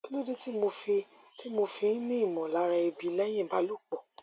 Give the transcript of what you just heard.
kí ló dé tí mo fi tí mo fi ń ní ìmọlára ebi lẹyìn ìbálòpọ